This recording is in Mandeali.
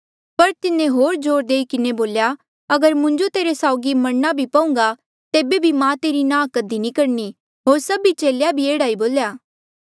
पर तिन्हें होर जोर देई किन्हें बोल्या अगर मुंजो तेरे साउगी मरणा भी पहूंगा तेबे बी मां तेरी नांह कधी नी करणी होर सभी चेले भी एह्ड़ा बोल्या